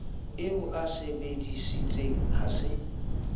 o a sebesisitseng a se